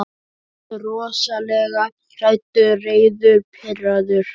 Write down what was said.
Ég er rosalega hræddur, reiður, pirraður.